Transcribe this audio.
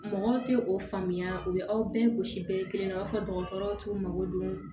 Mɔgɔw tɛ o faamuya u bɛ aw bɛɛ gosi bɛɛ kelen na u b'a fɔ dɔgɔtɔrɔw t'u mako don